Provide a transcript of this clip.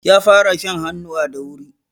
Ƴa fara shan hannuwa da wuri.